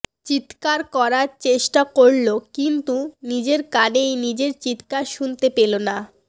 চিৎকার করার চেষ্টা করল কিন্তু নিজের কানেই নিজের চিৎকার শুনতে পেলো না